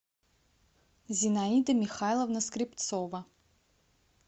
зинаида михайловна скрепцова